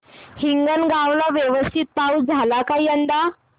हिंगणगाव ला व्यवस्थित पाऊस झाला का यंदा